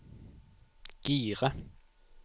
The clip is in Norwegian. gire